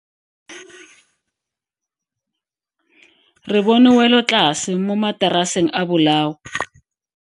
Re bone welotlase mo mataraseng a bolao.